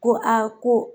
Ko a ko